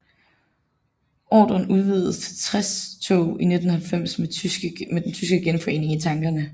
Ordren udvidedes til 60 tog i 1990 med den tyske genforening i tankerne